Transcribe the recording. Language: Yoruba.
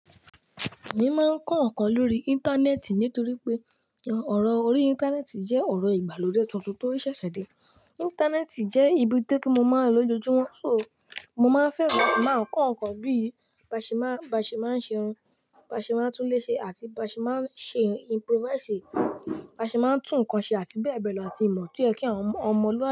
Èmi máa ń kọ́ nǹkan lórí Íńtánẹ́ẹ̀tì nítorí pé ọ̀rọ̀ orí Íńtánẹ́ẹ̀tì jẹ́ ọ̀rọ̀ ìgbàlódé tuntun tó ń ṣẹ̀ṣẹ̀ dé. Íńtánẹ́ẹ̀tì jẹ́ ibi tí mo máa ń lò lójoojúmọ́, so mo máa ń fẹ́ràn láti máa ń kọ́ nǹkan bí i báṣe máa ń ṣe irun, báṣe máa ń túnlé ṣe àti báṣe máa ń ṣe improvise, báṣe máa ń tún ǹkan ṣe àti bẹ́ẹ̀ bẹ́ẹ̀ lọ àti ìmọ̀ tí ẹ kí àwọn ọmọluwabi.